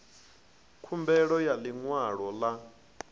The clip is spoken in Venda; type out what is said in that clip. khumbelo ya ḽi ṅwalo ḽa